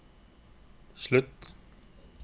slutt